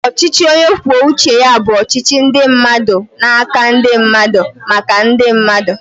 Ọchịchị onye kwuo uche ya bụ ọchịchị ndị mmadụ n'aka ndị mmadụ, maka ndị mmadụ